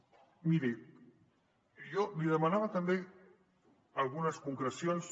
miri jo li demanava també algunes concrecions